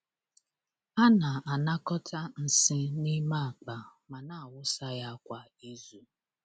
A na-anakọta nsị n’ime akpa ma na-awụsa ya kwa izu.